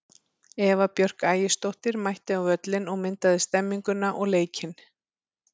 Eva Björk Ægisdóttir mætti á völlinn og myndaði stemmninguna og leikinn.